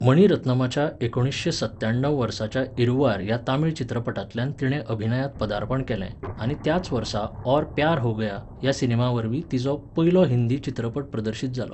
मणि रत्नमाच्या एकुणशें सत्त्याण्णव वर्साच्या इरुवार ह्या तमिळ चित्रपटांतल्यान तिणें अभिनयांत पदार्पण केलें आनी त्याच वर्सा 'और प्यार हो गया' ह्या सिनेमावरवीं तिचो पयलो हिंदी चित्रपट प्रदर्शीत जालो.